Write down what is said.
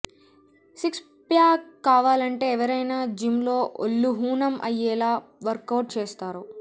six pack కావాలంటే ఎవరైనా gym లో ఒళ్లు హూణం అయ్యేలా వర్కౌట్ చేస్తారు